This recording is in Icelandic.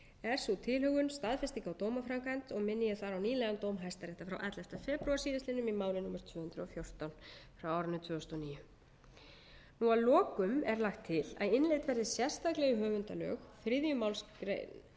er sú tilhögun staðfesting á dómaframkvæmd og minni ég þar á nýlegan dóm hæstaréttar frá ellefti febrúar síðastliðinn í máli númer tvö hundruð og fjórtán tvö þúsund og níu að lokum er lagt til að innleidd að innleidd verði sérstaklega í höfundalög þriðju